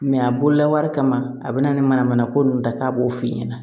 a bololabaara kama a bɛ na ni manamana ko ninnu ta k'a b'o f'i ɲɛna